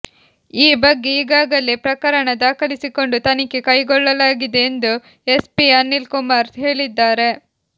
ಈ ಬಗ್ಗೆ ಈಗಾಗಲೇ ಪ್ರಕರಣ ದಾಖಲಿಸಿಕೊಂಡು ತನಿಖೆ ಕೈಗೊಳ್ಳಲಾಗಿದೆ ಎಂದು ಎಸ್ಪಿ ಅನಿಲ್ ಕುಮಾರ್ ಹೇಳಿದ್ದಾರೆ